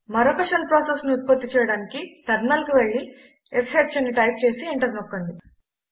మరొక షెల్ ప్రాసెస్ను ఉత్పత్తి చేయటానికి టెర్మినల్కు వెళ్లి ష్ అని టైప్ చేసి ఎంటర్ నొక్కండి